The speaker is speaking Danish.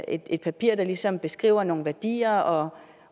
et papir der ligesom beskriver nogle værdier